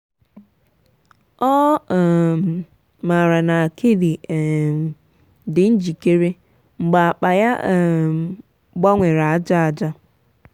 ọ um maara na akidi um dị njikere mgbe akpa ya um gbanwere aja aja.